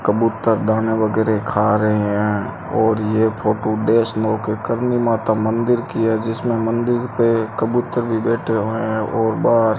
कबूतर दाना वगैरे खा रहे हैं और ये फोटो वैष्णो के करनी माता मंदिर की है जिसमें मंदिर पे कबूतर भी बैठे हुए हैं और बाहर --